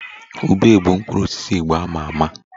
Ube bụ mkpụrụ osisi Igbo a ma ama